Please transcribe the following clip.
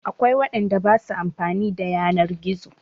Akwai waɗanda ba su amfani da yanar gizo.